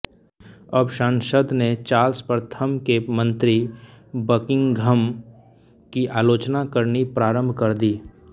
अब संसद ने चार्ल्स प्रथम के मन्त्री बकिंघम की आलोचना करनी प्रारंभ कर दी